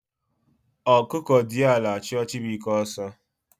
Okuko diara achu Chibuike oso